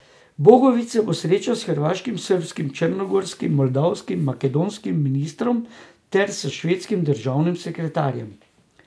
Bogovič se bo srečal s hrvaškim, srbskim, črnogorskim, moldavskim in makedonskim ministrom ter s švedskim državnim sekretarjem.